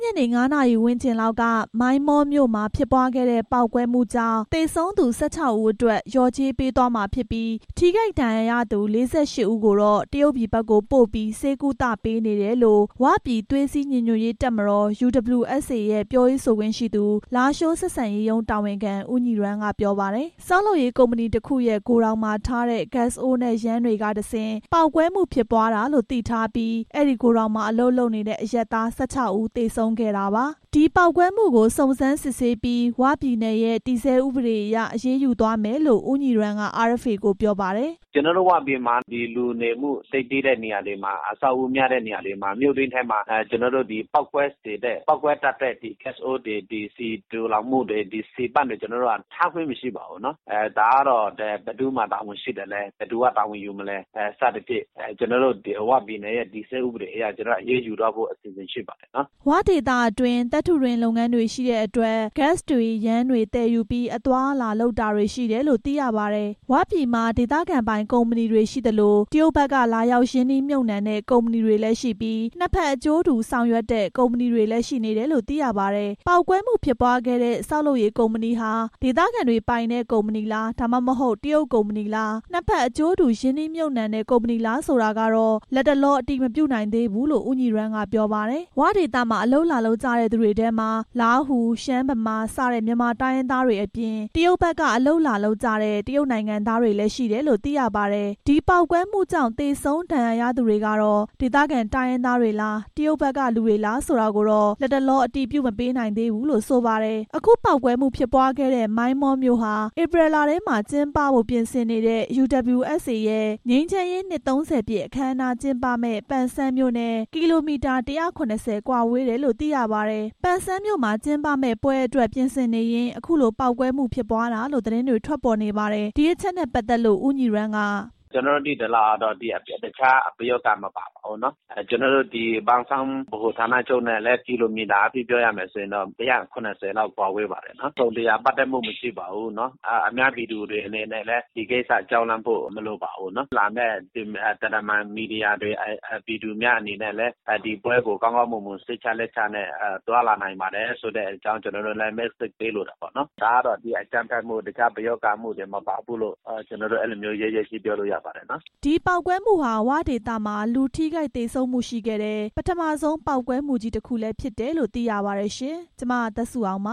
ညနေ ၅ နာရီ ဝန်းကျင်လောက်က မိုင်းမောမြို့မှာ ဖြစ်ပွားခဲ့တဲ့ ပေါက်ကွဲမှုကြောင့် သေဆုံးသူ ၁၆ ဦးအတွက် လျော်ကြေးပေးသွားမှာဖြစ်ပြီး ထိခိုက်ဒဏ်ရာရသူ ၄၈ ဦးကိုတော့ တရုတ်ပြည်ဘက်ကိုပို့ပြီး ဆေးကုသပေးနေတယ်လို့ "ဝ"ပြည်သွေးစည်း ညီညွတ်ရေးတပ်မတော် UWSA ရဲ့ပြောရေးဆိုခွင့်ရှိသူ လားရှိုး ဆက်ဆံရေးရုံးတာဝန်ခံ ဦးညီရန်းက ပြောပါတယ်။ ဆောက်လုပ်ရေး ကုမ္ပဏီတစ်ခုရဲ့ ဂိုဒေါင်မှာထားတဲ့ ဂတ်စ်အိုးတွေ၊ ယမ်းတွေကတဆင့် ပေါက်ကွဲမှုဖြစ်ပွားတာလို့ သိထားပြီး အဲဒီဂိုဒေါင်မှာ အလုပ်လုပ်နေတဲ့ အရပ်သား ၁၆ ဦး သေဆုံးခဲ့တာပါ။ ဒီပေါက်ကွဲမှုကို စုံစမ်းစစ်ဆေးပြီး "ဝ" ပြည်နယ်ရဲ့ တည်ဆဲဥပဒေအရ အရေးယူသွားမယ်လို့ ဦးညီရန်းက RFA ကို ပြောပါတယ်။ "ကျတော်တို့ "ဝ" ပြည်မှာ လူနေမှုသိပ်သည်းတဲ့ နေရာတွေမှာ အဆောက်အဦးများတဲ့နေရာတွေမှာ မြို့တွင်းထဲမှာ ပေါက်ကွဲစေတဲ့ ပေါက်ကွဲတတ်တဲ့ ဂတ်စ်အိုးတွေ ဆီသိုလှောင်မှုတွေ၊ ဆီပန့်တွေ ကျတော်တို့က ထားခွင့်မရှိပါဘူးနော်၊ ဒါကတော့ ဘယ်သူမှာတာဝန်ရှိသလဲ၊ ဘယ်သူက တာဝန်ယူမလဲ စသဖြင့် ကျတော်တို့ "ဝ" ပြည်နယ်ရဲ့ တည်ဆဲဥပဒေအရ အရေးယူသွားဖို့ ရှိပါတယ်" ၀ ဒေသအတွင်း သတ္တုတွင်းလုပ်ငန်းတွေရှိတဲ့အတွက် ဂတ်စ်တွေ ယမ်းတွေသယ်ယူပြီး အသွားအလာလုပ်တာတွေရှိတယ်လို့ သိရပါတယ်။ "ဝ"ပြည်မှာ ဒေသခံပိုင် ကုမ္ပဏီတွေ ရှိသလို၊ တရုတ်ဘက်က လာရောက်ရင်းနှီးမြှပ်နှံတဲ့ ကုမ္ပဏီတွေလည်းရှိပြီး နှစ်ဖက်အကျိုးတူ ဆောင်ရွက်တဲ့ ကုမ္ပဏီတွေလည်းရှိနေတယ်လို့ သိရပါတယ်။ ပေါက်ကွဲမှုဖြစ်ပွားခဲ့တဲ့ ဆောက်လုပ်ရေး ကုမ္ပဏီဟာ ဒေသခံတွေပိုင်တဲ့ ကုမ္ပဏီလား၊ ဒါမှမဟုတ် တရုတ်ကုမ္ပဏီလား နှစ်ဖက်အကျိုးတူ ရင်းနှီးမြှပ်နှံတဲ့ ကုမ္ပဏီလားဆိုတာတော့ လတ်တလော အတည်မပြုနိုင်သေးဘူးလို့ ဦးညီရန်းက ပြောပါတယ်။ "ဝ" ဒေသမှာ အလုပ်လာလုပ်ကြတဲ့ သူတွေထဲမှာ လားဟူ၊ ရှမ်း၊ ဗမာ စတဲ့ မြန်မာ တိုင်းရင်းသားတွေအပြင် တရုတ်ဘက်က အလုပ်လာလုပ်ကြတဲ့ တရုတ်နိုင်ငံသားတွေလည်း ရှိတယ်လို့ သိရပါတယ်။ ဒီပေါက်ကွဲမှုကြောင့် သေဆုံး၊ ဒဏ်ရာရသူတွေကတော့ ဒေသခံ တိုင်းရင်းသားတွေလား၊ တရုတ်ဘက်က လူတွေလားဆိုတာကို လတ်တလော အတည်ပြုမပေးနိုင်သေးဘူးလို့ ဆိုပါတယ်။ အခု ပေါက်ကွဲမှုဖြစ်ပွားခဲ့တဲ့ မိုင်းမောမြို့ဟာ ဧပြီလထဲမှာ ကျင်းပဖို့ ပြင်ဆင်နေတဲ့ UWSA ရဲ့ ငြိမ်းချမ်းရေး နှစ် ၃၀ ပြည့်အခမ်းအနားကျင်းပမယ့် ပန်ဆန်းမြို့နဲ့ ကီလိုမီတာ ၁၇၀ ကွာဝေးတယ်လို့ သိရပါတယ်။ ပန်ဆန်းမြို့မှာကျင်းပမယ့် ပွဲအတွက်ပြင်ဆင်နေရင်း အခုလို ပေါက်ကွဲမှုဖြစ်ပွားတာလို့ သတင်းတွေ ထွက်နေပါတယ်။ ဒီအချက်နဲ့ ပတ်သက်လို့ ဦးညီရန်းက "ကျတော်တို့ သိသလောက်ကတော့ တခြားပယောဂ မပါပါဘူးနော်၊ ကျတော်တို့ ပန်ဆန်း ဗဟိုဌာနချုပ်နဲ့လည်း ကီလိုမီတာအားဖြင့် ၁၇၀ လောက် ကွာဝေးပါတယ်။ တစ်စုံတစ်ရာပတ်သက်မှု မရှိပါဘူး၊ အများပြည်သူတွေအနေနဲ့လည်း ဒီကိစ္စကြောက်လန့်ဖို့ မလိုပါဘူး၊ လာမယ့် မီဒီယာတွေ ပြည်သူတွေအနေနဲ့လည်း ဒီပွဲကို ကောင်းကောင်းမွန်မွန်နဲ့ စိတ်ချလက်ချ သွားလာနိုင်ပါတယ်ဆိုတဲ့အကြောင်း သတင်းစကားပေးလိုပါတယ်၊ ဒါကတော့ တခြားအကြမ်းဖက်မှု ပယောဂအမှုတွေ မပါဘူးလို့ ကျတော်တို့ ရဲရဲကြီးပြောလို့ရပါတယ်" ဒီပေါက်ကွဲမှုဟာ "ဝ" ဒေသမှာ လူထိခိုက်သေဆုံးမှုရှိခဲ့တဲ့ ပထမဆုံး ပေါက်ကွဲမှုကြီး တစ်ခုလည်းဖြစ်တယ်လို့ သိရပါတယ်။ ဒီသတင်းကို RFA သတင်းထောက် မသက်စုအောင်